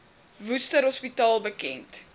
worcester hospitaal bekend